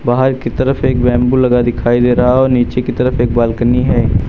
बाहर की तरफ एक बेम्बू दिखाई दे रहा है और नीचे की तरफ एक बाल्कनी है।